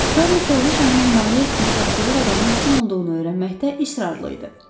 Şarni kraliçanın himayə etdiyi pəxtəvər adamın kim olduğunu öyrənməkdə israrlı idi.